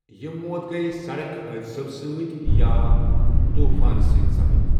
یِم موت گٔیہ سڑک حٲدثَو سۭتۍ یا طوٗفان سۭتۍ سپدۍ